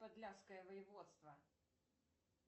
подляское воеводство